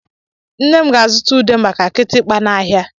Nne m ga-azụta ude maka kịtịkpa n'ahịa.